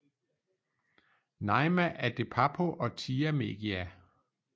Naima adedapo og thia megia